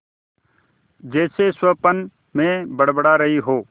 जैसे स्वप्न में बड़बड़ा रही हो